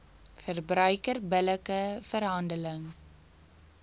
verbruiker billike verhandeling